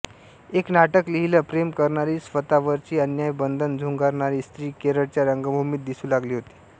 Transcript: एक नाटक लिहिलं प्रेम करणारी स्वतवरची अन्याय्य बंधनं झुगारणारी स्त्री केरळच्या रंगभूमीत दिसू लागली होती